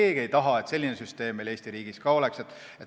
Te ei taha, et selline süsteem meil Eesti riigis oleks.